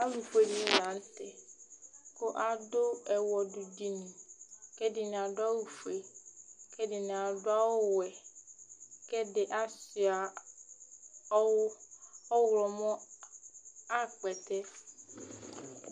Alu fʋe dìní la ntɛ kʋ adu ɛwɔdu dìní kʋ ɛdiní adʋ awu fʋe kʋ ɛdiní adʋ awu wɛ kʋ ɛdiní asʋia ɔwlɔmɔ ayʋ akpɛtɛ